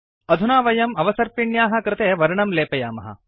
अधुना वयम् अवसर्पिण्याः कृते वर्णं लेपयामः